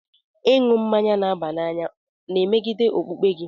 Ịṅụ mmanya n'aba n'any na-emegide okpukpe gị?